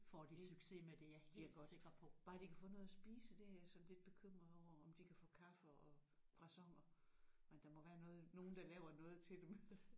Det bliver godt bare de kan få noget at spise det er jeg sådan lidt bekymret over om de kan få kaffe og croissanter men der må være noget nogen der laver noget til dem